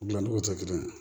Dilancogo tɛ kelen ye